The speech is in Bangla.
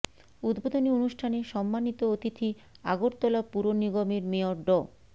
উদ্বোধনী অনুষ্ঠানে সম্মানিত অতিথি আগরতলা পুর নিগমের মেয়র ড